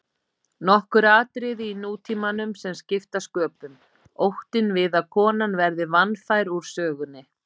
Nokkur atriði í nútímanum sem skipta sköpum: Óttinn við að konan verði vanfær úr sögunni.